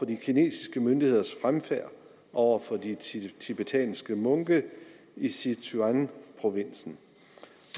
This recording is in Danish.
de kinesiske myndigheders fremfærd over for de tibetanske munke i sichuanprovinsen